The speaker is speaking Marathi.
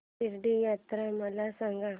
शिर्डी यात्रा मला सांग